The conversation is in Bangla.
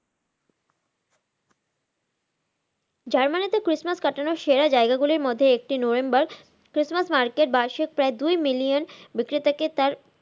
জার্মানি তে christmas কাটানোর সেরা জায়গা গুলোর মধ্যে একটি Noenberg christmas Market দুই million বিক্রেতাকে তার